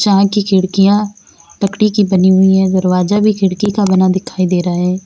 चाय की खिड़कियां लकड़ी की बनी हुई हैं दरवाजा भी खिड़की का बना दिखाई दे रहा है।